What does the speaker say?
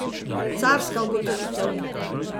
Carska ugotovitev.